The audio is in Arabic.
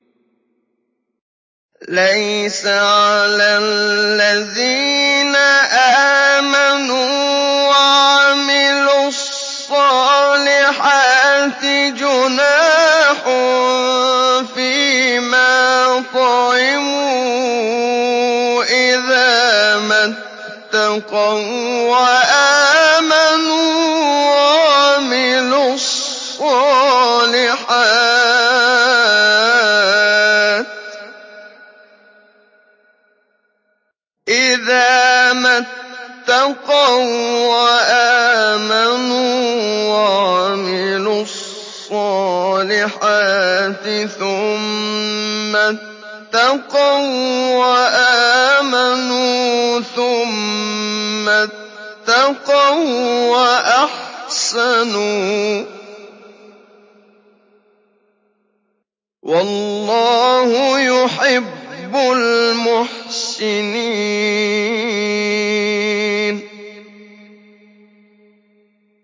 لَيْسَ عَلَى الَّذِينَ آمَنُوا وَعَمِلُوا الصَّالِحَاتِ جُنَاحٌ فِيمَا طَعِمُوا إِذَا مَا اتَّقَوا وَّآمَنُوا وَعَمِلُوا الصَّالِحَاتِ ثُمَّ اتَّقَوا وَّآمَنُوا ثُمَّ اتَّقَوا وَّأَحْسَنُوا ۗ وَاللَّهُ يُحِبُّ الْمُحْسِنِينَ